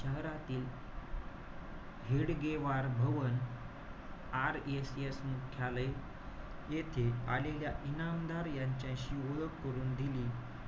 शहरातील हेडगेवार भवन RSS मुख्यालय येथे आलेल्या इनामदार यांच्याशी ओळख करून दिली.